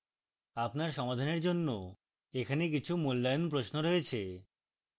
আপনার সমাধানের জন্য এখানে কিছু মূল্যায়ন প্রশ্ন রয়েছে